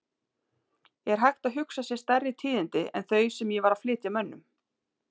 Er hægt að hugsa sér stærri tíðindi en þau sem ég var að flytja mönnum?!